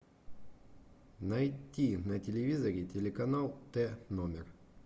найти на телевизоре телеканал т номер